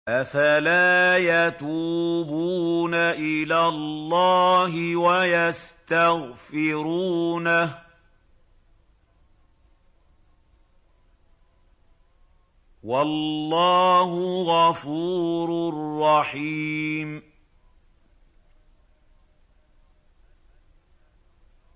أَفَلَا يَتُوبُونَ إِلَى اللَّهِ وَيَسْتَغْفِرُونَهُ ۚ وَاللَّهُ غَفُورٌ رَّحِيمٌ